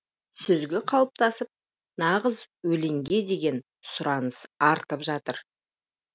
сүзгі қалыптасып нағыз өлеңге деген сұраныс артып жатыр